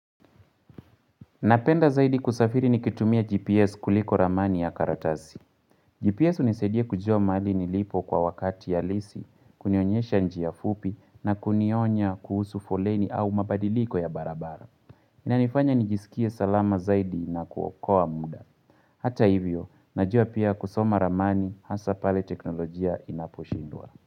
Napenda zaidi kusafiri nikitumia GPS kuliko ramani ya karatasi. GPS hunisaidia kujua mali nilipo kwa wakati halisi, kunionyesha njia fupi na kunionya kuhusu foleni au mabadiliko ya barabara. Inanifanya nijisikie salama zaidi na kuokoa muda. Hata hivyo, najua pia kusoma ramani hasa pale teknolojia inaposhindwa.